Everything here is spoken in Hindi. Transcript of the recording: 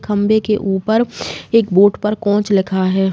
खम्भे के ऊपर एक बोट पर कोंच लिखा है।